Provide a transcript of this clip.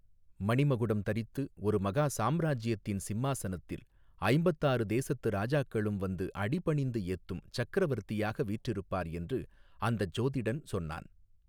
மணிமகுடம் தரித்து ஒரு மகா சாம்ராஜ்யத்தின் சிம்மாசனத்தில் ஐம்பத்தாறு தேசத்து ராஜாக்களும் வந்து அடிபணிந்து ஏத்தும் சக்கரவர்த்தியாக வீற்றிருப்பார் என்று அந்தச் சோதிடன் சொன்னான்.